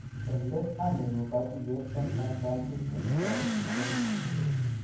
En let anyoru katuiyet en San Fransisco ne toreti murenik.